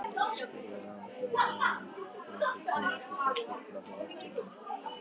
spurði hann þegar honum hafði tekist að stilla hláturinn.